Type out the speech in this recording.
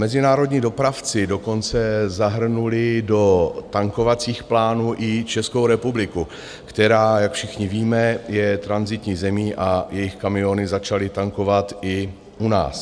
Mezinárodní dopravci dokonce zahrnuli do tankovacích plánů i Českou republiku, která, jak všichni víme, je tranzitní zemí, a jejich kamiony začaly tankovat i u nás.